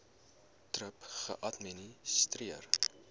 thrip geadministreer